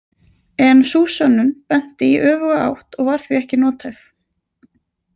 En sú „sönnun“ benti í öfuga átt og var því ekki nothæf.